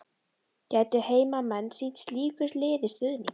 Gætu heimamenn sýnt slíku liði stuðning?